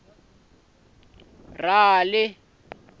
rali